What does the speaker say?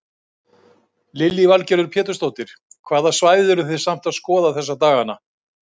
Lillý Valgerður Pétursdóttir: Hvaða svæði eru þið samt að skoða þessa daganna?